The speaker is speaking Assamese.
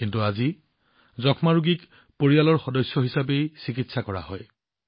কিন্তু এতিয়া যক্ষ্মা ৰোগীজনক পৰিয়ালৰ সদস্য কৰি সহায় কৰা হৈছে